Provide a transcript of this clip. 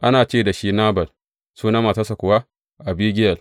Ana ce da shi Nabal, sunan matarsa kuwa Abigiyel.